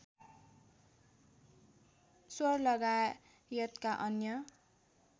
sure लगायतका अन्य